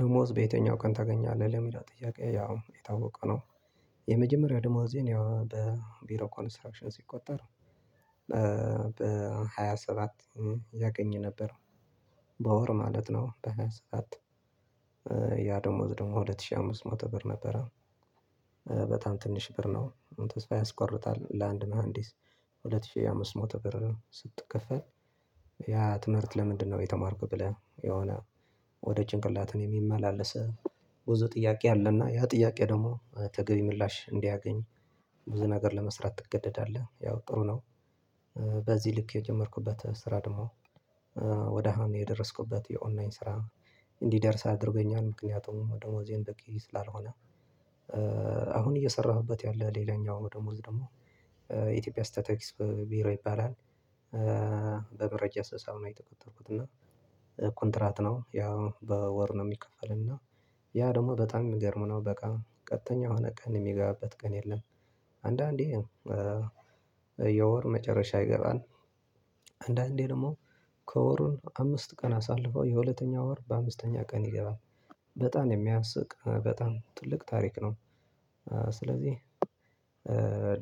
ደሞዝ በየትኛው ቀን ታገኛለህ ለሚላ ጥያቄ ያው የታወቀ ነው? የመጀመሪያው ደሞዜን ያው በቢሮ ኮንስትራክሽን ሲቆጠር በሃያ ሰባት ያገኘ ነበር። በወር ማለት ነው በሃያ ሰዓት። ያ ደሞዝ ደግሞ ሁለት ሺህ አምስት መቶ ብር ነበር። በጣም ትንሽ ብር ነው ተስፋ ያስቆርጣል። ለአንድ መሃንዲስ ሁለት ሺህ አምስት ሞቶ ብር ስትከፈል። ያ ትምህርት ለምንድነው የተማርኩ ብለህ የሆነ ወደ ጭንቅላቴ የሚመላለስ ብዙ ጥያቄ አለና ያ ጥያቄ ደግሞ ተገቢ ምላሽ እንዲያገኝ ብዙ ነገር ለመስራት ትገደዳለህ ያው ጥሩ ነው። በዚህ ልክ የጀመርኩበት ስራ ደግሞ ወደ አሃም የደረስኩበት የኦንላይን ስራ እንዲደርስ አድርገኛል ምክንያቱም ደሞዜ በቂ ስላልሆነ። አሁን እየሰራሁበት ያለ ሌላኛው ደሞዝ ደግሞ የኢትዮጵያ ስታቲክስ ቢሮ ይባላል። በመረጃ ሰሳው ነው የተቆጠርኩት እና ኮንትራት ነው ያው በወር ነው የሚከፈለኝ። እና ያ ደግሞ በጣም የሚገርመው ነው በቃ ቀጥተኛ የሆነ ቀን የሚገባበት ቀን የለም። አንዳንዴ የወር መጨረሻ ይገባል። አንዳንዴ ደግሞ ከወሩን አምስት ቀን አሳልፎ የሁለተኛው ወር በአምስተኛው ቀን ይገባል። በጣም የሚያስቅ በጣም ትልቅ ታሪክ ነው። ስለዚህ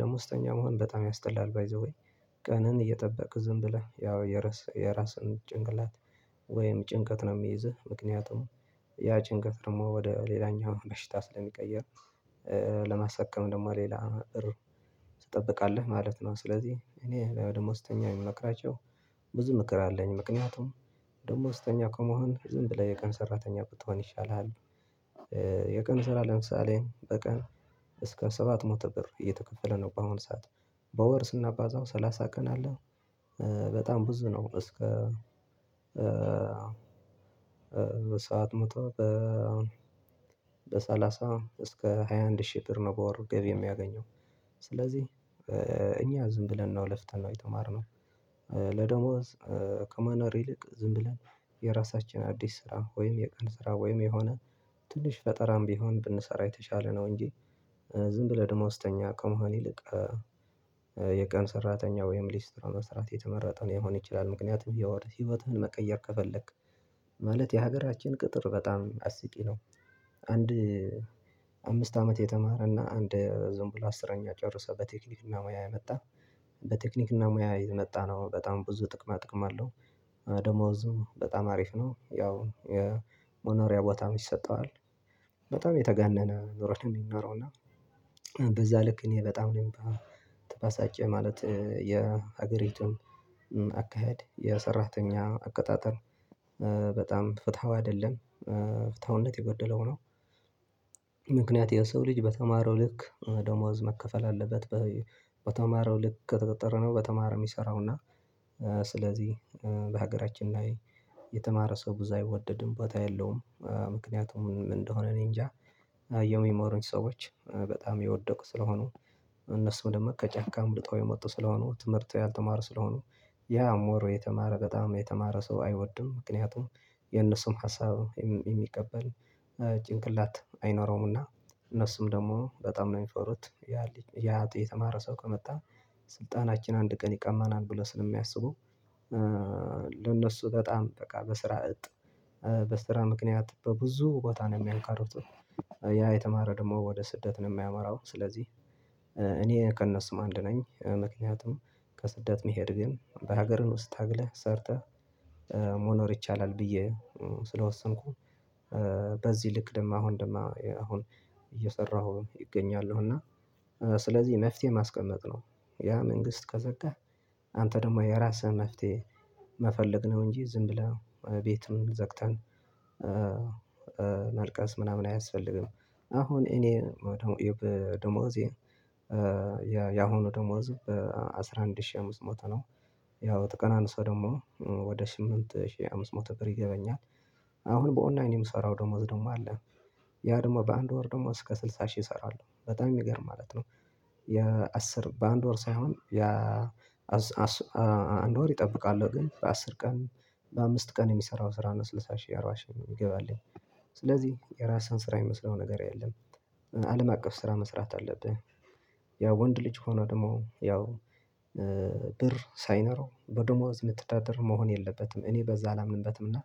ደሞዝተኛ መሆን በጣም ያስጠላል ባይ ዘ ዌይ ቀንን እየጠበክ ዝም ብለህ ያው የራስህን ጭንቅላት ወይም ጭንቀት ነው የሚይዝህ ምክንያቱም ያቺንቀት ደግሞ ወደ ሌላኛው ለሽታ ስለሚቀየር ለመሰከም ደግሞ ሌላ እር ትጠብቃለህ ማለት ነው። ስለዚህ እኔ ደግሞ ስተኛ የምመክራቸው ብዙ ምክር አለኝ ምክንያቱም ደግሞ ውስጠኛ ከመሆን ዝም ብለህ የቀን ሰራተኛ ብትሆን ይሻላል። የቀን ስራ ለምሳሌ በቀን እስከ ሰባት ሞተ ብር እየተከፈለ ነው በአሁን ሰዓት በወር ስናባዛው ሰላሳ ቀን አለ። በጣም ብዙ ነው እስከ በሰአት ሞቷል በሰላሳ እስከ ሃያ አንድ ሺህ ብር ነው። በወር ገቢ የሚያገኘው ስለዚህ እኛ ዝም ብለን ነው ለፍተን ነው የተማርነው። ለደሞዝ ከመኖር ይልቅ ዝም ብለን የራሳችን አዲስ ስራ ወይም የቀን ስራ ወይም የሆነ ትንሽ ፈጠራም ቢሆን ብንሰራ የተሻለ ነው። እንጂ ዝም ብለህ ደሞዝተኛ ከመሆን ይልቅ የቀን ሰራተኛ ወይም ሊስትሮ መስራት የተመረጠውን የሚሆን ይችላል። ምክንያቱም እያወራህ ህይወትህን መቀየር ከፈለክ ማለት የሀገራችን ቅጥር በጣም አስቂ ነው። አንድ አምስት አመት የተማረና አንድ ዝም ብሎ አስረኛ ጨርሰህ በቴክኒክና ሙያ የመጣ በቴክኒክና ሙያ የመጣ ነው በጣም ብዙ ጥቅማ ጥቅም አለው። ደሞዝም በጣም አሪፍ ነው ያው የሞኖሪያ ቦታም ይሰጠዋል። በጣም የተጋነነ ኑሮችን የሚኖረው እና በዛ ልክ እኔ በጣም ነው የምባሳጨው ማለት የሀገሪቱም አካሄድ የሰራተኛ አቀጣጠር በጣም ፍትሃው አይደለም ፍታውነት የጎደለው ነው። ምክንያት የሰው ልጅ በተማረው ልክ ደሞዝ መከፈል አለበት። በተማረው ልክ ተጠርተህ ነው በተማረው የሚሰራውና ስለዚህ በሀገራችን ላይ የተማረ ሰው ብዙ አይወደድም ቦታ የለውም ምክንያቱም እንደሆነ እኔ እንጃ የሚሞሩኝ ሰዎች በጣም የወደቁ ስለሆኑ እነሱ ወደመቀ ከጫካ አምልጠው የመጡ ስለሆኑ ትምህርት ያልተማረ ስለሆኑ ያ ሞር የተማረ በጣም የተማረ ሰው አይወድም። ምክንያቱም የነሱም ሀሳብ የሚቀበል ጭንቅላት አይኖረውምና እነሱም ደግሞ በጣም ነው የሚሰሩት ያ ያ የተማረ ሰው ከመጣ ስልጣናችን አንድ ቀን ይቀማናል ብለው ስለሚያስቡ ለነሱ በጣም በቃ በስራ እጥ በስራ ምክንያት በብዙ ቦታ ነው የሚያልቀሩት። ያ የተማረ ደግሞ ወደ ስደትን የማያመራው ስለዚህ እኔ ከነስም አንድ ነኝ ምክንያቱም ከስደት መሄድ ግን በሀገርህ ውስጥ ታግለህ ሰርተህ መኖር ይቻላል። ብዬ ስለወሰንኩ በዚህ ልክ ደግሞ አሁን ደግሞ አሁን እየሰራሁ እገኛለሁ እና ስለዚህ መፍትሄ ማስቀመጥ ነው። ያ መንግስት ከዘጋህ አንተ ደግሞ የራስህ መፍትሄ መፈለግ ነው። እንጂ ዝም ብለን ቤትም ዘግተን ማልቀስ ምናምን አያስፈልግም። አሁን እኔ ደሞዜ ያሁኑ ደሞዙ በአሥራ አንድ ሺህ አምስት ሞቶ ነው። ያው ተቀናንሰው ደግሞ ወደ ስምንት ሺህ አምስት መቶ ቀን ይገባኛል። አሁን በኦናይን የምሰራው ደሞዝ ደግሞ አለ። ያ ደግሞ በአንድ ወር ደግሞ እስከ ስልሳ ሺህ እሰራለሁ በጣም የሚገርም ማለት ነው። የአስር በአንድ ወር ሳይሆን አንድ ወር ይጠብቃሉ ግን በአስር ቀን በአምስት ቀን የሚሰራው ስራ ነው ስልሳ ሺህ አራባ ሺ የሚገባልኝ። ስለዚህ የራስህን ስራ የሚመስለው ነገር የለም። አለም አቀፍ ስራ መስራት አለብህ። ያው ወንድ ልጅ ሆኖ ደግሞ ያው ብር ሳይኖረው በዶሞዝ ምትተዳድር መሆን የለበትም እኔ በዛ አላምንበትም። እና